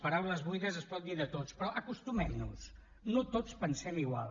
paraules buides es pot dir de tots però acostumem nos hi no tots pensem igual